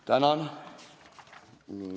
Tänan!